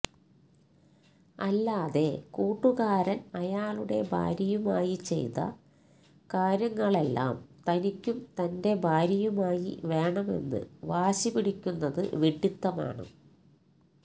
അല്ലാതെ കൂട്ടുകാരൻ അയാളുടെ ഭാര്യയുമായി ചെയ്ത കാര്യങ്ങളെല്ലാം തനിക്കും തന്റെ ഭാര്യയുമായി വേണമെന്ന് വാശി പിടിക്കുന്നത് വിഡ്ഡിത്തമാണ്